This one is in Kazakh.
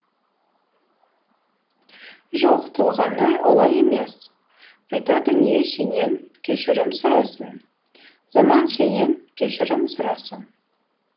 жоқ толғанай олай емес қайта дүние сенен кешірім сұрасын заман сенен кешірім сұрасын